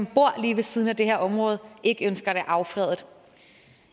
bor lige ved siden af det her område ikke ønsker det affredet